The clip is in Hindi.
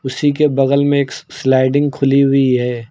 उसी के बगल में एक स्लाइडिंग खुली हुई है।